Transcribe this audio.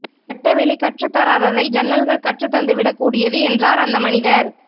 வெட்டவெளி கற்றுத்தராததை ஜன்னல்கள் கற்றுத் தந்துவிடக் கூடியது என்றார் அந்த மனிதர்